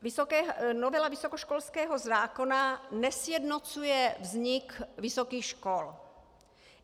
Novela vysokoškolského zákona nesjednocuje vznik vysokých škol.